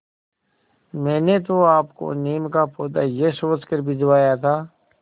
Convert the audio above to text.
मैंने तो आपको नीम का पौधा यह सोचकर भिजवाया था